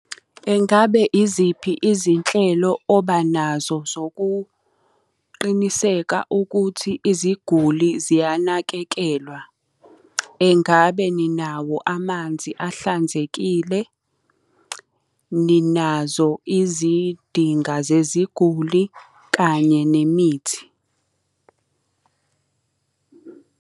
Engabe iziphi izinhlelo obanazo zokuqiniseka ukuthi iziguli ziyanakekelwa? Engabe ninawo amanzi ahlanzekile? Ninazo izidinga zeziguli, kanye nemithi?